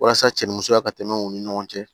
Walasa cɛ ni musoya ka tɛmɛ u ni ɲɔgɔn cɛ